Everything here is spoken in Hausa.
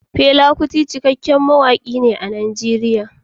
Fela Aníkúlápó Kuti cikakken mawaƙin ne a Najeriya.